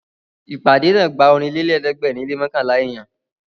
Ìpàdé náà gba Ọ̀rìnlélẹ̀ẹ́dẹ́gbèrin lé mọ́kànlá èèyàn